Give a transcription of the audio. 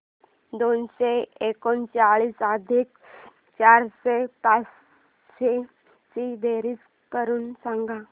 दोनशे एकोणचाळीस अधिक चारशे पंचवीस ची बेरीज करून सांगा